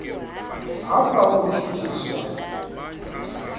apha utshutshi swa